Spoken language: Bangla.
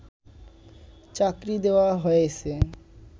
চাকরি দেওয়া হয়েছে